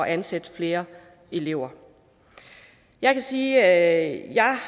ansætte flere elever jeg kan sige at jeg